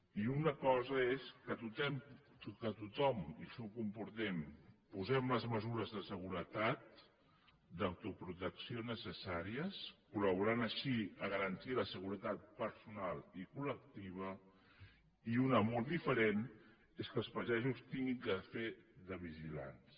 i una cosa és que tothom i això ho compartim posem les mesures de seguretat d’autoprotecció necessàries col·laborant així a garantir la seguretat personal i collectiva i una molt diferent és que els pagesos hagin de fer de vigilants